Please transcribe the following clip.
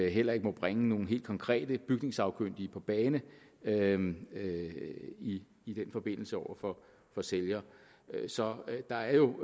heller ikke må bringe nogle helt konkrete bygningssagkyndige på banen banen i i den forbindelse over for sælger så der er jo i